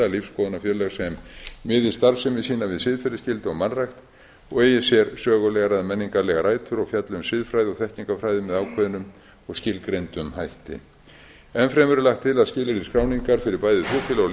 lífsskoðunarfélög sem miði starfsemi sína við siðferðisskyldu og mannrækt og eigi sér sögulegar eða menningarlegar rætur og fjalli um siðfræði og þekkingu á fræðum með ákveðnum og skilgreindum hætti enn fremur er lagt til að skilyrði skráningar fyrir bæði trúfélög og lífsskoðunarfélög